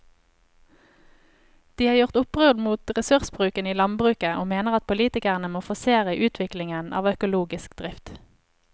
De har gjort opprør mot ressursbruken i landbruket og mener at politikerne må forsere utviklingen av økologisk drift.